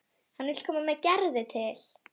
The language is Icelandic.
Hann vill koma með Gerði til